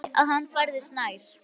Hún heyrði að hann færðist nær.